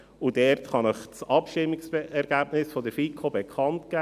Ich kann Ihnen das Abstimmungsergebnis der FiKo hierzu bekannt geben: